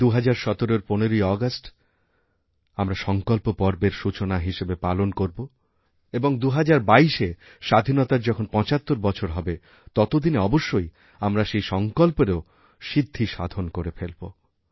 এই ২০১৭র ১৫ই আগস্ট আমরা সঙ্কল্পপর্বের সূচনা হিসেবে পালন করব এবং ২০২২এ স্বাধীনতার যখন ৭৫ বছর হবে ততদিনেঅবশ্যই আমরা সেই সঙ্কল্পেরও সিদ্ধি সাধন করে ফেলব